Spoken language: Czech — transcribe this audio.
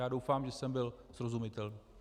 Já doufám, že jsem byl srozumitelný.